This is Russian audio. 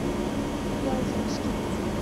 вяземским